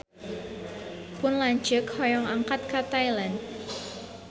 Pun lanceuk hoyong angkat ka Thailand